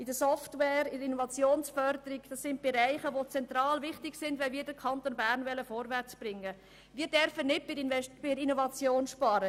Die Innovationsförderung ist aber zentral, wenn wir den Kanton Bern vorwärtsbringen wollen.